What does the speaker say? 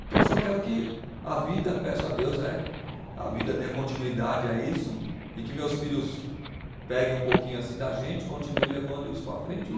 Então eu só quero que a vida, peço a Deus né, a vida dê continuidade a isso e que meus filhos peguem um pouquinho assim da gente, continue levando isso para frente e